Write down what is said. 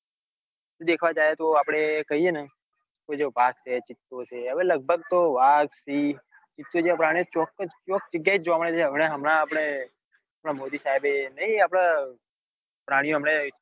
દેખવા જાય તો આપડે કઈએ તો ને વાઘ છે ચિત્તો છે હવે તો લગભગ તો વાઘ સિંહ પ્રાણીઓ ચોક્કજ ચોક જગ્યાય જ જોવા મળે છે હમણાં હમણાં આપડે મોદી સાહેબે નાઈ આપડે પ્રાણીઓ